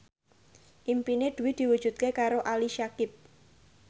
impine Dwi diwujudke karo Ali Syakieb